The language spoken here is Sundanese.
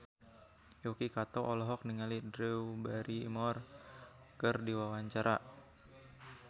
Yuki Kato olohok ningali Drew Barrymore keur diwawancara